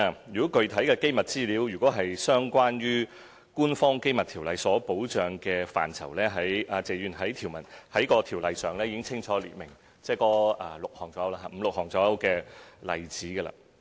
如果具體的機密資料是關乎《條例》所保障的範疇，謝議員，該條例已清楚列明，約有五六項例子。